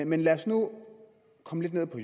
men lad os nu komme lidt ned på